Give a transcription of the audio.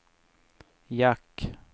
jack